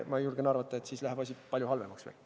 Ma julgen arvata, et siis läheb asi veel palju halvemaks.